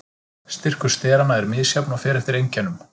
Styrkur steranna er misjafn og fer eftir einkennum.